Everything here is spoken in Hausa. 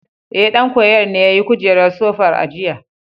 Ee, ɗan koyon ne yayi kujerar sofar a jiya.